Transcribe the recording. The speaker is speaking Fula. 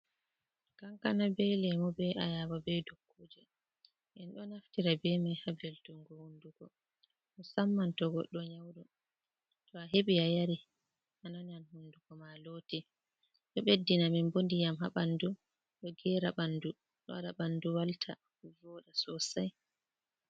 Kankana bee leemu bee ayaba bee dukuuje. Ɓe ɗo naftira bee man ha belɗumgo hundugo, musamman ɗo goɗɗo nyawɗo. To a heɓi a yari, a nanan hunduko maa looti, ɗo ɓeddina men bo ndiyam ha ɓanndu, ɗo geera banndu, ɗo waɗa banndu walta, vooɗa sosai.